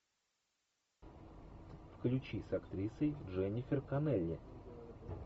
включи с актрисой дженнифер канелли